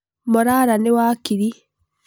Morara nĩ wakiri.